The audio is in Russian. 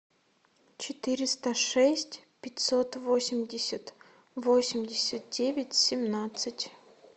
четыреста шесть пятьсот восемьдесят восемьдесят девять семнадцать